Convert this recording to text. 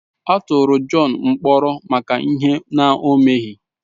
A tụrụ John mkpọrọ maka ihe ọ na-emeghi.